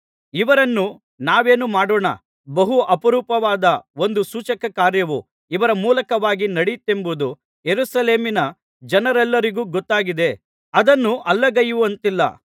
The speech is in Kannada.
ಇವರನ್ನು ನಾವೇನು ಮಾಡೋಣ ಬಹು ಅಪರೂಪವಾದ ಒಂದು ಸೂಚಕಕಾರ್ಯವು ಇವರ ಮೂಲಕವಾಗಿ ನಡೆಯಿತೆಂಬುದು ಯೆರೂಸಲೇಮಿನ ಜನರೆಲ್ಲರಿಗೂ ಗೊತ್ತಾಗಿದೆ ಅದನ್ನು ಅಲ್ಲಗಳೆಯುವಂತಿಲ್ಲ